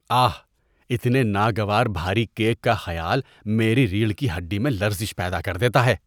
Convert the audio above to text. آہ، اتنے ناگوار بھاری کیک کا خیال میری ریڑھ کی ہڈی میں لرزش پیدا کر دیتا ہے۔